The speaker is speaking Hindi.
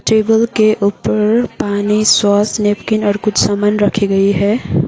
टेबल के ऊपर पानी सॉस नेपकिन और कुछ सामान रखी गई है।